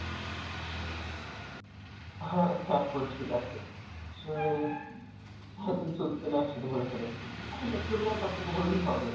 হ্যাঁ হ্যাঁ আপু ঠিক আছে, আসলে এত কিছু উঠছে না একসাথে বলে ফেলেছি; আপনি যতটুকু জানেন ততটুকু বললেই হবে।